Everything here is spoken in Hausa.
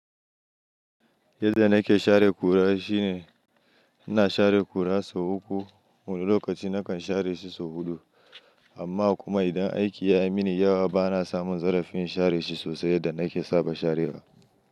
Yadda nake share ƙura shine ina share ƙura sau uku wani lokaci nakan share shi sau huɗu amma kuma idan aiki ya yi mini yawa bana samun zarafin share shi sosai yadda nake saba sharewa.